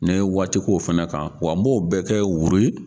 Ni ye waati ko fɛnɛ kan, wa n b'o bɛɛ kɛ